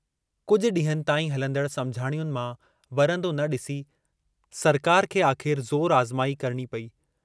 कुझ डींहंनि ताईं हलंदड़ समुझाणियुनि मां वरन्दो न डिसी सरकार खे आख़िर ज़ोरु आज़माई करिणी पेई।